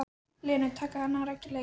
Lenu, taka hana rækilega í gegn.